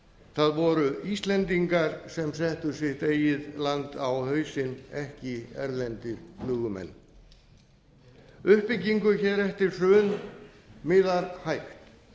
það voru íslendingar sem settu sitt eigið land á hausinn ekki erlendir flugumenn uppbyggingu eftir hrun miðar hægt